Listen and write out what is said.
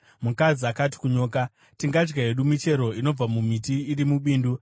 Mukadzi akati kunyoka, “Tingadya hedu michero inobva mumiti iri mubindu,